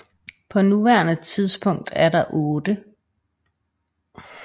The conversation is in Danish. På nuværende tidspunkt er der otte